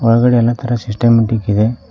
ಒಳಗಡೆ ಎಲ್ಲ ತರ ಸಿಸ್ಟಮ್ಯಾಟಿಕ್ ಇದೆ.